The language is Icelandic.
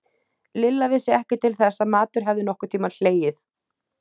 Lilla vissi ekki til þess að matur hefði nokkurn tímann hlegið.